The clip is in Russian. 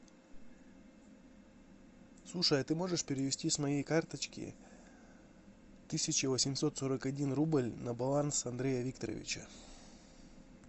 слушай а ты можешь перевести с моей карточки тысячу восемьсот сорок один рубль на баланс андрея викторовича